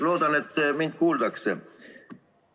Loodan, et mind kuuldakse.